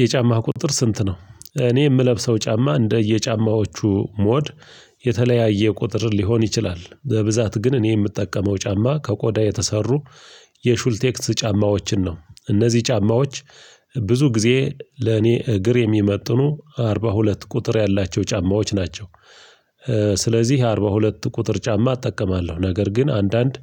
የጫማህ ቁጥር ስንት ነው? እኔ የምለብሰው ጫማ እንደየ ጫማዎቹ ሞድ የተለያየ ቁጥር ሊሆን ይችላል በብዛት ግን እኔ የምጠቀመው ጫማ ከቆዳ የተሰሩ የሹልቴክስ ጫማዎችን ነው። እነዚህ ጫማዎች ብዙ ጊዜ ለኔ እግር የሚመጥኑ አርባ ሁለት ቁጥር ያላቸው ጫማዎች ናቸው። እ ስለዚህ አርባ ሁለት ቁጥር ጫማ እጠቀማለሁ። ነገር ግን አንዳንድ